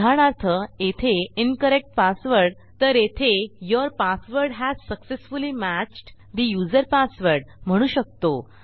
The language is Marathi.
उदाहरणार्थ येथे इन्करेक्ट पासवर्ड तर येथे your password has successfully matched ठे यूझर पासवर्ड म्हणू शकतो